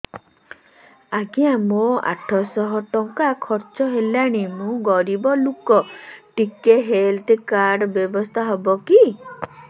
ଆଜ୍ଞା ମୋ ଆଠ ସହ ଟଙ୍କା ଖର୍ଚ୍ଚ ହେଲାଣି ମୁଁ ଗରିବ ଲୁକ ଟିକେ ହେଲ୍ଥ କାର୍ଡ ବ୍ୟବସ୍ଥା ହବ କି